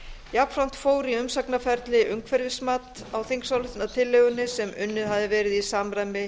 jafnframt fór í umsagnarferli umhverfismat á þingsályktunartillögunni sem unnið hafði verið í samræmi